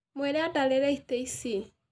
Mwĩre andarĩre itĩ ici.